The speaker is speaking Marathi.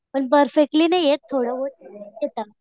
पण परफेक्टली नाही येत. थोडं बहुत येत.